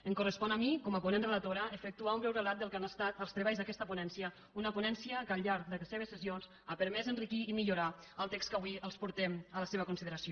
em correspon a mi com a ponent relatora efectuar un breu relat del que han estat els treballs d’aquesta ponència una ponència que al llarg de les seves sessions ha permès enriquir i millorar el text que avui els portem a la seva consideració